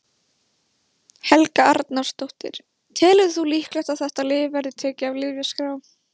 Helga Arnardóttir: Telur þú líklegt að þetta lyf verði tekið af lyfjaskrá?